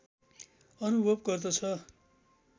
अनुभव गर्दछ